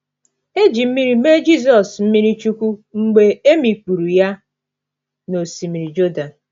E ji mmiri mee Jizọs mmiri chukwu mgbe e mikpuru ya n’osimiri Jọdan.